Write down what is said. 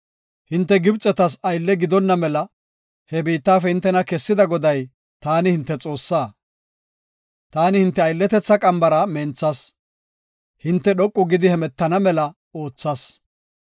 Hinte Gibxetas aylle gidonna mela he biittafe hintena kessida Goday, taani hinte Xoossaa. Taani hinte aylletetha qambara menthas; hinte dhoqu gidi hemetana mela oothas.